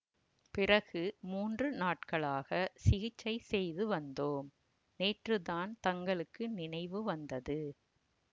பிறகு மூன்று நாட்களாகச் சிகிச்சை செய்து வந்தோம் நேற்றுத்தான் தங்களுக்கு நினைவு வந்தது